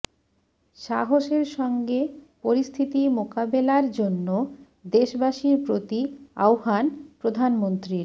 সাহসের সঙ্গে পরিস্থিতি মোকাবেলার জন্য দেশবাসীর প্রতি আহ্বান প্রধানমন্ত্রীর